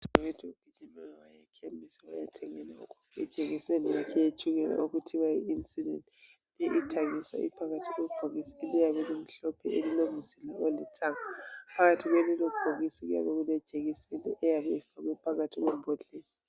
Udadewethu ugijime waya ekhemisi wayathengela ugogo ijekiseni yakhe eyetshukela okuthiwa yi insulin. Ithengiswa iphakathi kwebhokisi eliyabe lomhlophe elilomzila olithanga. Phakathi kwalelobhokisi kuyabe kulejekiseni eyabe ifakwe phakathi kwembodlela.